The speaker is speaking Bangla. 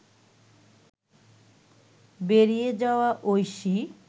বেরিয়ে যাওয়া ঐশী